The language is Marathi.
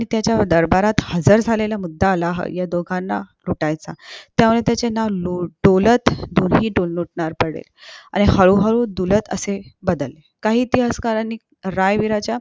त्याच्या दरबारात हजार झालेला मुद्दा आलाहो ह्या दोघांना लुटायचा त्याचे नाव डोलत डोली डोलतनार पडले आणि हळू हळू डुलत असे बदले काही इतिहासकरणी